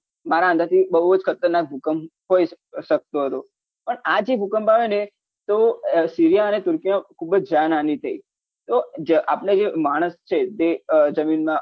મારા અંદાજથી બહુજ ખતરનાખ ભૂકંપ હોઈ શકતો હતો પણ આ જે ભૂકંપ આયો ને તો seriya અને turki મા ખુબ જ જાન હાની થઇ તો જે આપને જે માણસ છે તે જમીનમાં